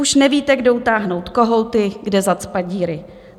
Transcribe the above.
Už nevíte, kde utáhnout kohouty, kde zacpat díry.